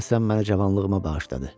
Deyəsən mənə cavanlığıma bağışladı.